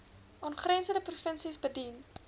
aangrensende provinsies bedien